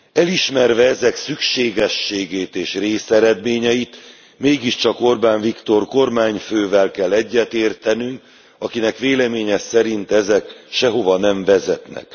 Elismerve ezek szükségességét és részeredményeit, mégiscsak Orbán Viktor kormányfővel kell egyetértenünk, akinek véleménye szerint ezek sehova nem vezetnek.